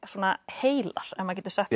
heilar ef maður getur sagt